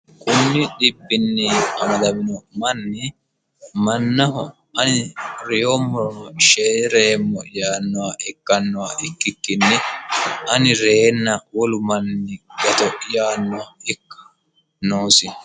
kunni dhibbinni amadamino manni mannaho ani reyommorono sheereemmo yaannowa ikkannowa ikkikkinni ani reyeenna wolu manni gato yaanno ikka noosi